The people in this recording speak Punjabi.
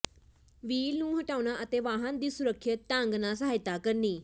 ਵ੍ਹੀਲ ਨੂੰ ਹਟਾਉਣਾ ਅਤੇ ਵਾਹਨ ਦੀ ਸੁਰੱਖਿਅਤ ਢੰਗ ਨਾਲ ਸਹਾਇਤਾ ਕਰਨੀ